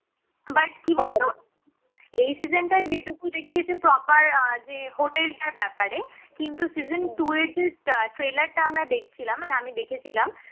but কি বলতো এই season টায় যেটুকু দেখিয়েছে proper আহ যে hotel টার ব্যাপারে কিন্তু season two এ যে trailer টা আমরা দেখছিলাম মানে আমি দেখেছিলাম